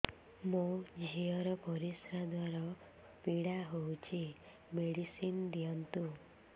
ମୋ ଝିଅ ର ପରିସ୍ରା ଦ୍ଵାର ପୀଡା ହଉଚି ମେଡିସିନ ଦିଅନ୍ତୁ